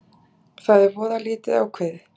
Það er voða lítið ákveðið